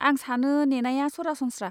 आं सानो नेनाया सरासनस्रा।